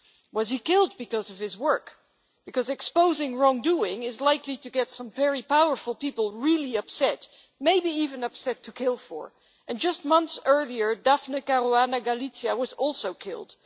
Was he killed because of his work? Because exposing wrongdoing is likely to get some very powerful people really upset, maybe even upset to kill for. Just months earlier, Daphne Caruana Galizia was also killed.